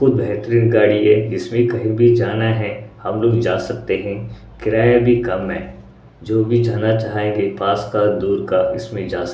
बेहतरीन गाड़ी है इसमें कही भी जाना है हम लोग जा सकते हैं किराया भी कम है जो भी जाना चाहेंगे पास का दूर इसमें जास--